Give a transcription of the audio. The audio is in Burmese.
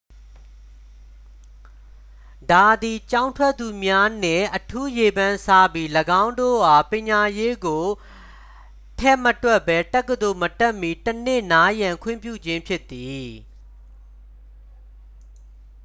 ဒါသည် ကျောင်းထွက်သူများနှင့် အထူးရေပန်းစားပြီး ၎င်းတို့အား ပညာရေးကို ထည့်မတွက်ပဲ တက္ကသိုလ်မတက်မှီ တစ်နှစ် နားရန်ခွင့်ပြုခြင်းဖြစ်သည်